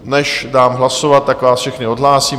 Než dám hlasovat, tak vás všechny odhlásím.